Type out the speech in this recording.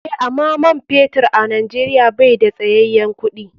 Eh, ama man fetur a nijeria bai da tsayayen kuɗi.